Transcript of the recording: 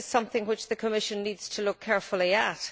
This is something which the Commission needs to look carefully at.